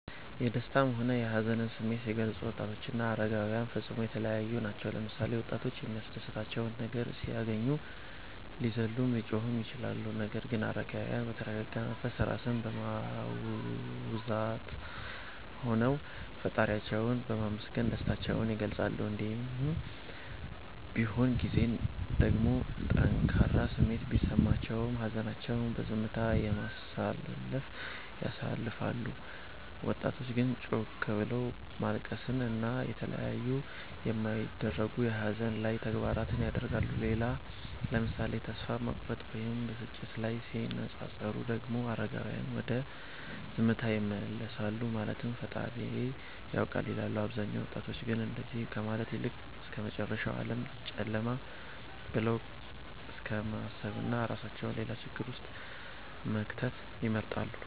የደሰታም ሆነ የሀዘንን ስሜት ሲገልፁ ወጣቶችና አረጋዉያን ፈፅሞ የተለያዪ ናቸዉ ምሳሌ፦ ወጣቶች የሚያስደስታቸው ነገር ሲያገኙ ሊዘሉም ሊጮሁም ይችላሉ ነገር ግን አረጋዉያን በተረጋጋ መንፈስ (ራስን በማዉዛት) ሆነዉ ፈጣሪያቸዉን በማመስገን ደስታቸዉን ይገልፃሉ። እንዲሁም በሆን ጊዜም ደግሞ ጠንካራ ስሜት ቢሰማቸውም ሀዘናቸዉን በዝምታ፣ በማሰላሰል ያሳልፋሉ ወጣቶች ግን ጮክ ብሎት ማልቀስን እና የተለያዩ የማይደረጉ የሀዘን ላይ ተግባራት ያደርጋሉ። ሌላ ምሳሌ ተስፋ መቁረጥ ወይም ብስጭት ላይ ሲነፃፀሩ ደግሞ አረጋዉያን ወደ ዝምታ ይመለሳሉ ማለትም ፈጣሪዬ ያዉቃል ይላሉ አብዛኞቹ ወጣቶች ግን እንደዚ ከማለት ይልቅ እስከመጨረሻዉ ዓለም ጨለማ ብለዉ እስከማሰብና እራሳቸዉን ሌላ ችግር ዉስጥ መክተትን ይመርጣሉ